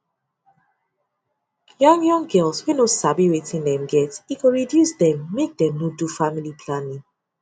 young young girls wey no sabi wetin dem get e go reduce dem make them no do family planning